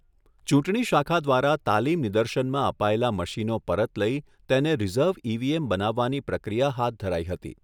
ચૂંટણી શાખા દ્વારા તાલીમનિદર્શનમાં અપાયેલા મશીનો પરત લઈ તેને રિઝર્વ ઈવીએમ બનાવવાની પ્રક્રિયા હાથ ધરાઈ હતી.